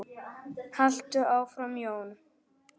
Haltu áfram Jón!